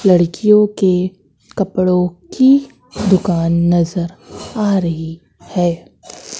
लड़कियों के कपड़ों की दुकान नजर आ रही है।